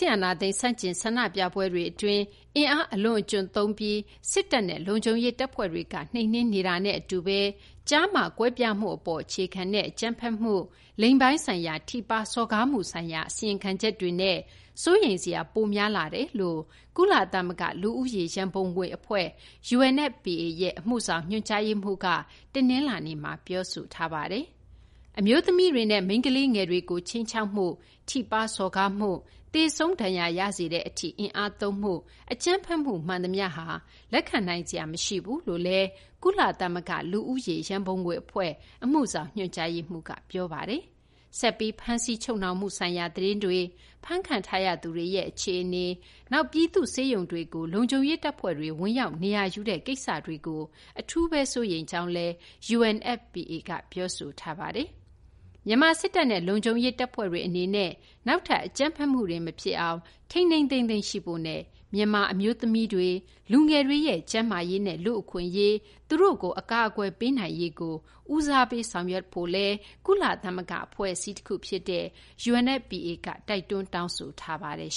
စ်အာဏာသိမ်း ဆန့်ကျင် ဆန္ဒပြပွဲတွေ အတွင်း အင်အား အလွန်အကျွံသုံးသုံးပြီး စစ်တပ်နဲ့ လုံခြုံရေး တပ်ဖွဲ့တွေက နှိမ်နင်းနေတာနဲ့ အတူပဲ ကျားမ ကွဲပြားမှု အပေါ် အခြေခံတဲ့ အကြမ်းဖက်မှုတွေ၊ လိင်ပိုင်းဆိုင်ရာ ထိပါး စော်ကားမှုဆိုင်ရာ အစီရင်ခံချက်တွေနဲ့ စိုးရိမ် စရာ ပိုများလာကြောင်း ကုလသမဂ္ဂ လူဦးရေ ရန်ပုံငွေ အဖွဲ့ရဲ့ အမှုဆောင် ညွှန်ကြားရေးမှူးက တနလာၤနေ့မှာ ပြောဆိုပါတယ်။ အမျိုးသမီးတွေနဲ့ မိန်းကလေးငယ်တွေကို ခြိမ်းခြောက်မှု၊ ထိပါးစော်ကားမှု၊ သေဆုံးဒဏ်ရာ ရစေတဲ့ အထိ အင်အားသုံးမှု၊ အကြမ်းဖက်မှု မှန်သမျှဟာ လက်ခံနိုင်စရာ မရှိဘူးလို့လည်း ကုလသမဂ္ဂ လူဦးရေ ရန်ပုံငွေ အဖွဲ့ အမှုဆောင် ညွှန်ကြားရေးမှူးက ပြောဆိုထားပါတယ်။ ဆက်ပြီး ဖမ်းဆီး ချုပ်နှောင်မှုဆိုင်ရာ သတင်းတွေ၊ ဖမ်းခံထားရသူတွေရဲ့ အခြေအနေ၊ နောက် ပြည်သူ့ ဆေးရုံတွေကို လုံခြုံရေး တပ်ဖွဲ့တွေ ဝင်ရောက် နေရာယူတဲ့ အခြေအနေတွေကို အထူးဘဲ စိုးရိမ်ကြောင်း UNFPA က ပြောဆိုထားပါတယ်။ မြန်မာ စစ်တပ်နဲ့ လုံခြုံရေး တပ်ဖွဲ့တွေ အနေနဲ့ နောက်ထပ် အကြမ်းဖက်မှုတွေ မဖြစ်အောင် ချက်ချင်းဘဲ ထိန်းထိန်းသိမ်းသိမ်း ရှိဖို့နဲ့ မြန်မာ အမျိုးသမီးတွေ၊ လူငယ်တွေရဲ့ ကျန်းမာရေးနဲ့ လူ့အခွင့်အရေး၊ အကာအကွယ်ပေးနိုင်ရေးကို ဦးစားပေး ဆောင်ရွက်ဖို့လည်း ကုလသမဂ္ဂ အဖွဲ့ UNFPA က တောင်းဆိုထားပါတယ်